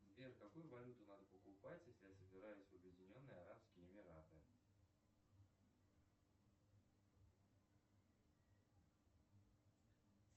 сбер какую валюту надо покупать если я собираюсь в обьединенные арабские эмираты